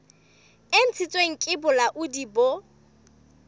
e ntshitsweng ke bolaodi bo